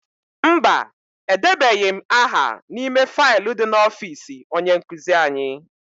Mba, edebeghị m aha n'ime faịlu dị n'ọfịịsi onye nkụzi anyị.